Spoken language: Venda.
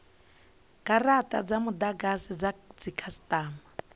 garata dza mudagasi dza dzikhasitama